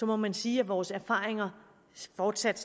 må man sige at vores erfaringer fortsat